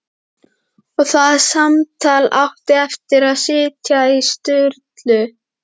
Og það samtal átti eftir að sitja í Sturlu